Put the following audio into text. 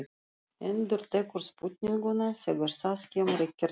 Endurtekur spurninguna þegar það kemur ekkert svar.